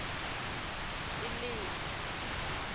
elimi